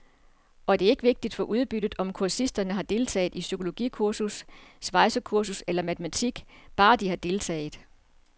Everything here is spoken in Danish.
Og det er ikke vigtigt for udbyttet, om kursisterne har deltaget i psykologikursus, svejsekursus eller matematik, bare de har deltaget.